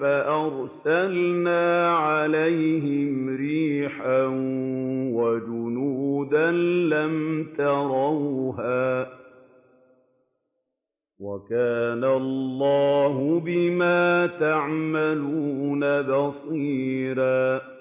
فَأَرْسَلْنَا عَلَيْهِمْ رِيحًا وَجُنُودًا لَّمْ تَرَوْهَا ۚ وَكَانَ اللَّهُ بِمَا تَعْمَلُونَ بَصِيرًا